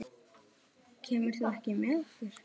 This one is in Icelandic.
Kemur þú ekki með okkur?